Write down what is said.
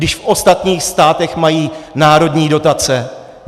Když v ostatních státech mají národní dotace.